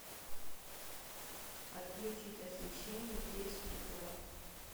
отключить освещение в десять утра